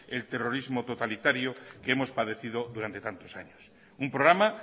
el terrorismo totalitario que hemos padecido durante tantos años un programa